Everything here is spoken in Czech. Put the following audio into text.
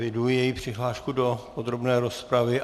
Eviduji její přihlášku do podrobné rozpravy.